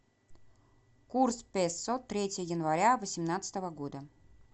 курс песо третье января восемнадцатого года